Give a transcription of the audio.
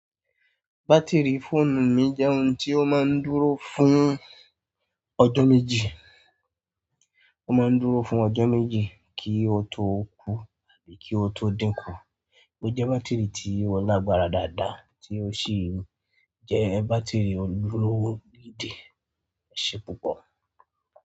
Batiri fóònù mi jẹ́ ohun tí ó máa ń dúró fún ọjọ́ méjì, ó máa ń dúró fún ọjọ́ méjì kí ó tó kú àbí kí ó tó dínkù. Ó jẹ́ bátìrì tí ó lágbára dáadáa tí ó sì ń jẹ́ bátìrì ojúlówó gidí. Ẹṣe púpọ̀.